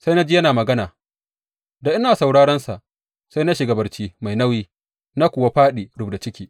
Sai na ji yana magana, da ina sauraronsa, sai na shiga barci mai nauyi, na kuwa fāɗi rubda ciki.